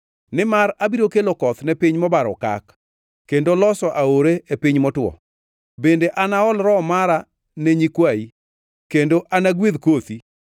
Nimar abiro kelo koth ne piny mobaro okak kendo loso aore e piny motwo; bende anaol Roho mara ne nyikwayi kendo anagwedh kothi.